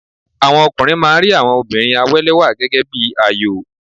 Àwọn ọkùnrin máa ń rí àwọn obìnrin àwélẹ́wà gẹ́gẹ́ bí àyò.